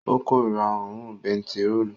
Ó korira òórùn bentiróòlù